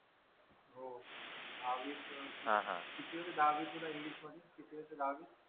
दहावीत किती होते दहावीत तुला इंग्लिश मध्ये किती होते दहावीत